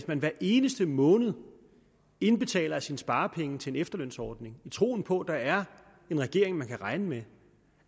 man hver eneste måned indbetaler af sine sparepenge til en efterlønsordning i troen på at der er en regering man kan regne med